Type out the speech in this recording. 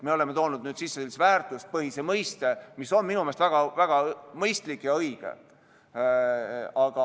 Me oleme toonud sisse sellise väärtuspõhisuse mõiste, mis on minu meelest väga mõistlik ja õige.